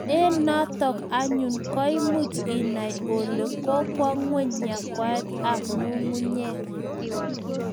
Eng' notok anyun ko much inai ole kokwo ngweny yakwaiyet ab ngungunyek